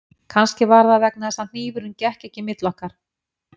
Kannski var það vegna þess að hnífurinn gekk ekki milli okkar